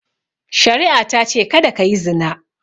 Shari'a ta ce "Kada ka yi zina!"